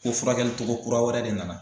Ko furakɛli togo kura wɛrɛ de nana.